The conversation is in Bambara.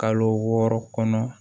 Kalo wɔɔrɔ kɔnɔ